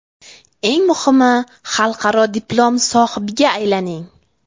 Eng muhimi xalqaro diplom sohibiga aylaning!